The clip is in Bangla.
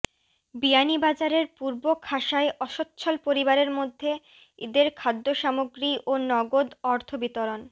বিয়ানীবাজারের পূর্ব খাসায় অস্বচ্ছল পরিবারের মধ্যে ঈদের খাদ্য সামগ্রি ও নগদ অর্থ বিতরণ